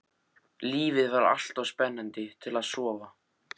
Lífið var alltof spennandi til að sofa.